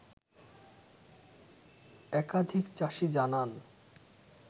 একাধিক চাষি জানান